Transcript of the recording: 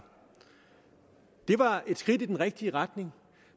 det var et skridt i den rigtige retning